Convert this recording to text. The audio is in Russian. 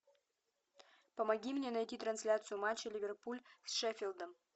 помоги мне найти трансляцию матча ливерпуль с шеффилдом